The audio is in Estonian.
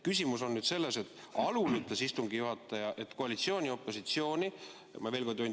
Küsimus on nüüd selles, et alul ütles istungi juhataja, et koalitsiooni ja opositsiooni määrab Riigikogu juhatus.